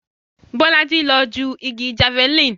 Bolaji ló ju igi Javeline